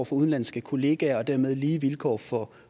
for udenlandske kollegaer og dermed lige vilkår for